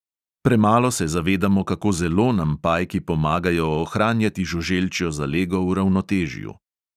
Premalo se zavedamo, kako zelo nam pajki pomagajo ohranjati žuželčjo zalego v ravnotežju.